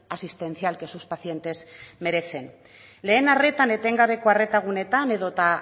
asistencial que sus pacientes merecen lehen arretan etengabeko arreta guneetan edota